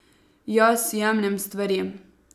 Jaz jemljem stvari.